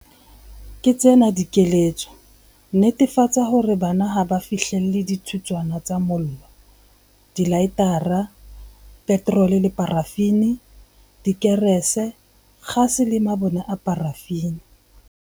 Ke tsena dikeletso- Netefatsa hore bana ha ba fihlelle dithutswana tsa mollo, dilaetara, petrole le parafini, dikerese, kgase le mabone a parafini.